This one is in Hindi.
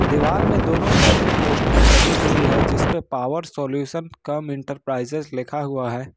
दिवाल में दोनों साईडे पोस्टरे लगी हुई है जिसपे पावर सॉल्यूशन कम इंटरप्राइजेज लिखा हुआ है।